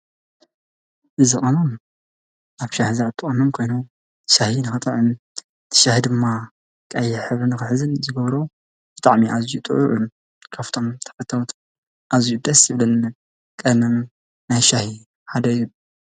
እዚ ቅመም ኣብ ሻሂ ዝኣቱ ቅመም ኮይኑ ሻሂ ንክጥዕም ሻሂ ድማ ቀይሕ ሕብሪ ንክሕዝ ዝግብሮ ብጣዕሚ ኣዝዩ ጥዑም ካብቶም ተክልታት አዝዩ ደስ ዝብል ቀመም ናይ ሻሂ ሓደ እዩ፡፡